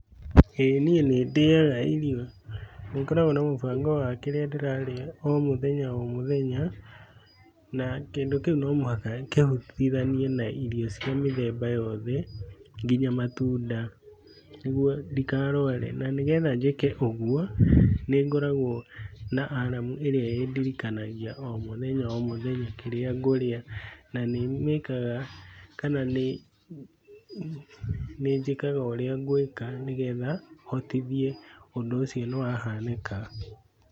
ĩĩ niĩ nĩndĩaga irio na nĩndĩ mũbango wa kĩrĩa ndĩrarĩa o mũthenya o mũthenya na kĩndũ kĩu no mũhhaka kĩhutithanie na irio ya mĩthemba yothe nginya matunda nĩguo ndikarware na nĩgetha njĩke ũguo nĩngoragwo na aramu ĩrĩa ĩndirikanagia o mũthenya o mũthenya kĩrĩa ngũrĩa nĩnjĩkaga ũrĩa ngwĩka nĩgetha hotithie ũndũ ũcio nĩwahanĩka.